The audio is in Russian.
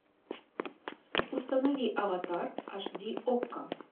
установи аватар аш ди окко